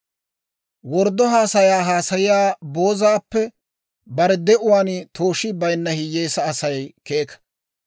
Worddo haasayaa haasayiyaa boozaappe bare de'uwaan tooshii bayinna hiyyeesaa Asay keeka.